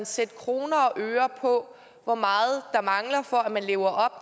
sætte kroner og øre på hvor meget der mangler for at man lever